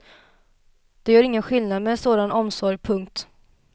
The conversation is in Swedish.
Det gör skillnad med sådan omsorg. punkt